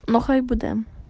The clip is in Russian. бухать будем